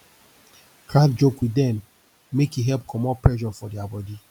crack joke wit dem mek e help comot pressure for dia body